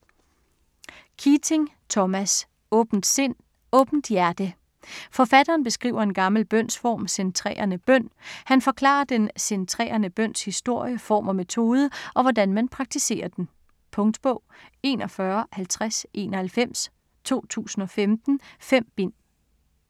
Keating, Thomas: Åbent sind, åbent hjerte Forfatteren beskriver en gammel bønsform, centrerende bøn. Han forklarer den centrerende bøns historie, form og metode, og hvordan man praktiserer den. Punktbog 415091 2015. 5 bind.